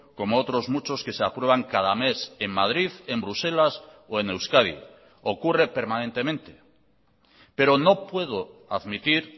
como otros muchos que se aprueban cada mes en madrid en bruselas o en euskadi ocurre permanentemente pero no puedo admitir